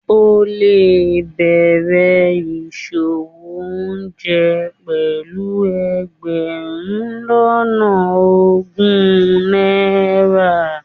o le bẹrè isòwó oúnjẹ pelú egberun lona ogun naira